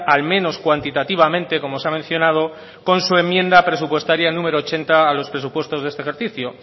al menos cuantitativamente como se ha mencionado con su enmienda presupuestaria número ochenta a los presupuestos de este ejercicio